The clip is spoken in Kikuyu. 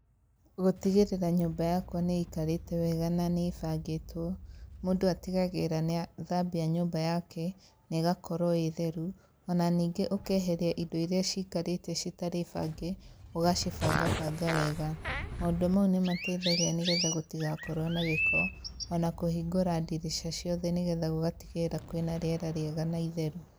Gũtigĩrĩra nyũmba yakwa niikarĩte wega na nĩbangĩtwo, mũndũ atigagĩrĩra nĩathambia nyũmba yake negakorwo ĩĩ theru ona ningĩ ũkeheria indo irĩa cikarĩte citarĩ bange ũgacibangabanga wega. Maũndũ mau nĩmateithagia nĩgetha gũtigakorowo na gĩko ona kũhingũra ndirica ciothe nĩgetha gũgatigĩrĩra kwĩna rĩera rĩega na itheru .